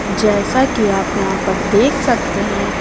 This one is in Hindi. जैसा कि आप यहां पर देख सकते हैं।